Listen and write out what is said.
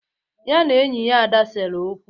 Ya na enyi ya Ada sere okwu.